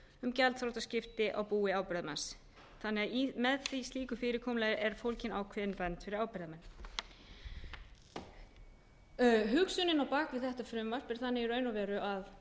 um gjaldþrotaskipti á búi ábyrgðarmanns segja má að með slíku fyrirkomulagi sé fólgin ákveðin vernd fyrir ábyrgðarmenn hugsunin á bak við þetta frumvarp er þannig í raun og veru að